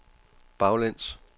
baglæns